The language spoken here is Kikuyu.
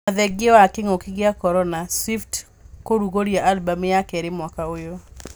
Ona thengia wa king’ũki gĩa korona, Swift kũrugũria albam ya keerĩ mwaka ũyũ